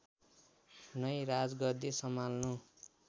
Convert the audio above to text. नै राजगद्दी सम्हाल्नु